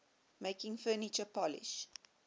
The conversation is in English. making furniture polish